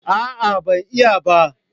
A'a ban iya ba